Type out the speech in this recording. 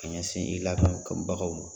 Ka ɲɛsin ladon bagaw ma.